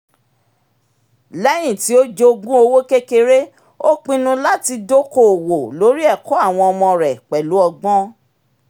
léyìn tí ó jogún owó kékeré ó pinnu láti dokoowó lórí ẹ̀kọ́ àwọn ọmọ rẹ pẹ̀lú ọgbọ́n